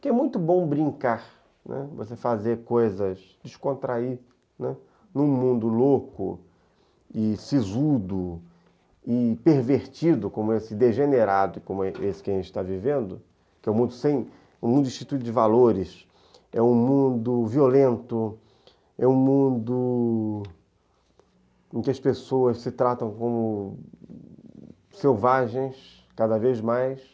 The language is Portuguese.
Porque é muito bom brincar, né, você fazer coisas, descontrair, né, num mundo louco e sisudo e pervertido, como esse degenerado, como esse que a gente está vivendo, que é um mundo sem, instituído de valores, é um mundo violento, é um mundo em que as pessoas se tratam como selvagens cada vez mais.